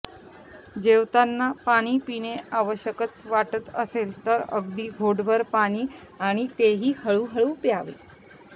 जेवताना पाणी पिणे आवश्यकच वाटत असेल तर अगदी घोटभर पाणी आणि तेही हळू हळू प्यावे